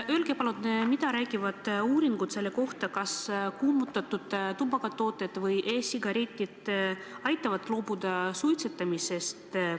Öelge palun, mida räägivad uuringud selle kohta, kas kuumutatud tubakatooted ja e-sigaretid aitavad loobuda suitsetamisest.